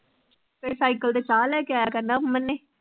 ਫਿਰ cycle ਤੇ ਚਾਹ ਲੈ ਕੇ ਆਇਆ ਕਰਨਾ ਅਮਨ ਨੇ।